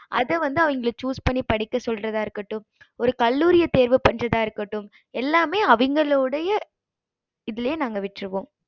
அது வந்து அவிங்க choose பண்ணி படிக்க சொல்லறத இருக்கட்டும் ஒரு கல்லூரிய தேர்வு பன்றத இருக்கட்டும் எல்லாமே அவிங்கலோடைய இதுலையே விட்ருவோம்